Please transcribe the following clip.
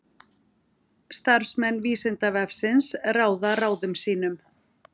Starfsmenn Vísindavefsins ráða ráðum sínum.